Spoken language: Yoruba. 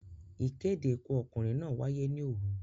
Ìkéde Ikú ọkùnrin náà wáyé ní òru.